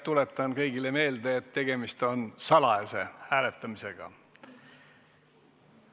Tuletan kõigile meelde, et tegemist on salajase hääletamisega.